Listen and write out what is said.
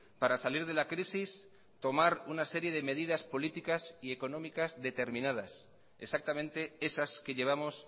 para salir de la crisis tomar una serie medidas políticas y económicas determinadas exactamente esas que llevamos